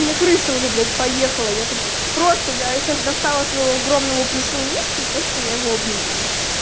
у меня крыша уже блять поехала я тут просто я сейчас достала своего огромного плюшевого мишку и просто я его обнимаю